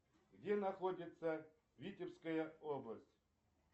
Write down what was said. где находится витебская область